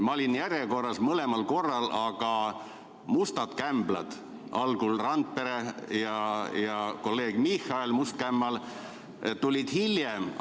Ma olin mõlemal korral järjekorras eespool, aga mustad kämblad, algul Randpere ja siis kolleeg Michali must kämmal tulid hiljem.